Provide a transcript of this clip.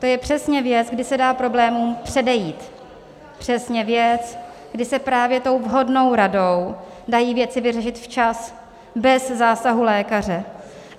To je přesně věc, kdy se dá problémům předejít, přesně věc, kdy se právě tou vhodnou radou dají věci vyřešit včas, bez zásahu lékaře.